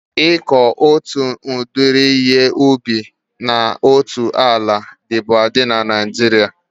Ịkọ otu udiri ihe ubi na otu ala dịbu adị na Naijiria